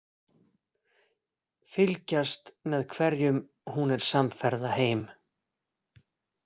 Fylgjast með hverjum hún er samferða heim.